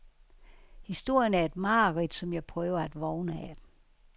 Historien er et mareridt, som jeg prøver at vågne af .